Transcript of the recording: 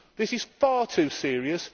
This is far too serious.